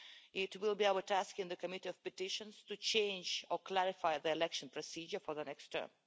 It will be our task in the Committee on Petitions to change or clarify the election procedure for the next term.